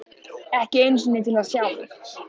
Ekki einu sinni til að sjá mig.